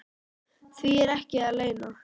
Því er ekki að leyna.